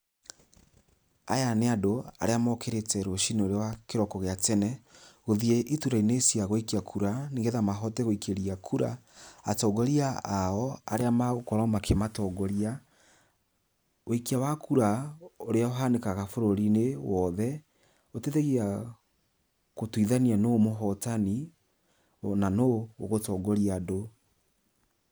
Aya nĩ andũ arĩa mokĩrĩte rũcii-inĩ rwa kĩroko gĩa tene, gũthĩe iturwa-inĩ cia gũikia kura, nĩgetha mahote guikĩria kura atongoria ao arĩa magũkorwo makĩmatongoria. Wĩikia wa kura ũrĩa uhanĩkaga bũrũri-inĩ wothe, ũteithagia gũtuithania nũ mũhotani, ona nũ ũgũtongoria andũ.